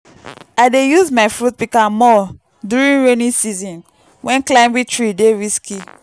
i dey use my fruit pika more during rainy season wen climbing tree dey risky.